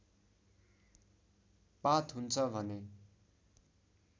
पात हुन्छ भने